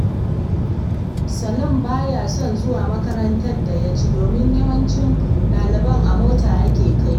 Salim baya son zuwa makarantar da ya ci, domin yawancin ɗaliban a mota ake kai su.